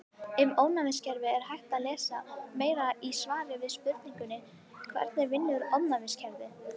Um ónæmiskerfið er hægt að lesa meira í svari við spurningunni Hvernig vinnur ónæmiskerfið?